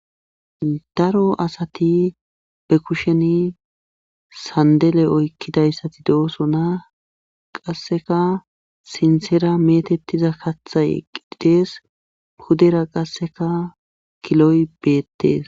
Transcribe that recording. Daro asati be kusheni sandele oykkidayssati de'oso naa qasseka sintsera metettiza kathay eqidees hudera qasseka kiloy beettees.